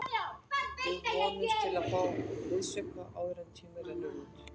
Við vonumst til að fá liðsauka áður en tíminn rennur út.